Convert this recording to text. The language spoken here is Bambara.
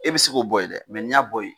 E bi se k'o bɔ yen dɛ mɛ ni y'a bɔ yen